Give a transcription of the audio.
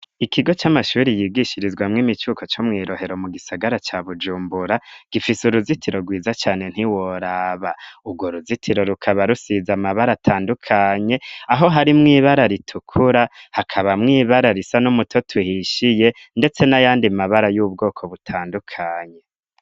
Ikigo c'amashuri yigishirizwamwoim icuko co mwirohero mu gisagara ca bujumbura gifise uruzitiro rwiza cane ntiworaba urwo ruzitiro rukaba rusiza amabara atandukanye aho harimw ibara ritukura hakaba mwibara risa n'umuto tuhishiye, ndetse n'ayandi mabara y'ubwoko butandukanye.